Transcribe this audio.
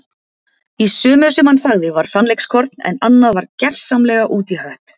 Í sumu sem hann sagði var sannleikskorn en annað var gersamlega út í hött.